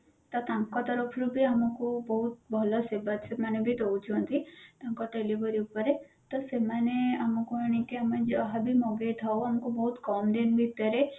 ତ ତାଙ୍କ ତରଫରୁ ବି ଆମକୁ ବହୁତ ଭଲ ସେବା ମାନେ ବି ଦଉଛନ୍ତି ତାଙ୍କ delivery ଉପରେ ତ ସେମାନେ ଆମକୁ ଆଣିକି ଆମେ ଯାହାବି ମଗେଇ ଥାଉ ଆମକୁ ବହୁତ କମ ଦିନ ଭିତରେ